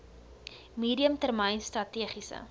medium termyn strategiese